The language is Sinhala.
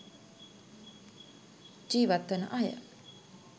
ජීවත්වන අය.